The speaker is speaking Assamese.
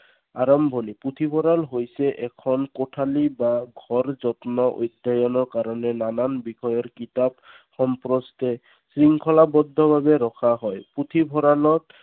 আৰম্ভণি। পুথিভঁৰাল হৈছে এখন কোঠালী বা ঘৰ য'ত বাবে নানান ধৰণৰ কিতাপ, শৃংখলাবদ্ধভাৱে ৰখা হয়। পুথিভঁৰালত